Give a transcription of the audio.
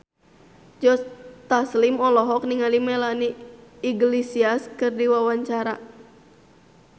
Joe Taslim olohok ningali Melanie Iglesias keur diwawancara